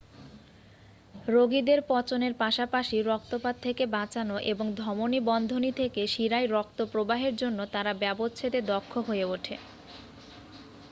রোগীদের পচনের পাশাপাশি রক্তপাত থেকে বাঁচানো এবং ধমনী বন্ধনী থেকে শিরায় রক্ত প্রবাহের জন্য তারা ব্যবচ্ছেদে দক্ষ হয়ে ওঠে